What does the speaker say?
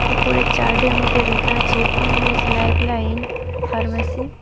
উপরের চার্ডের মধ্যে লেখা আছে এম_এস লাইভলাইন ফার্মেসী ।